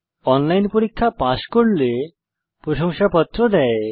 online পরীক্ষা pass করলে প্রশংসাপত্র দেয়